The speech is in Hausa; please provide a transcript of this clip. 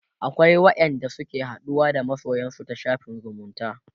akwai wa ƴan da suke haɗuwa da masoyansu ta shafin zumunta